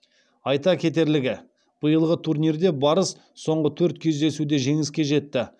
айта кетерлігі биылғы турнирде барыс соңғы төрт кездесуде жеңіске жетті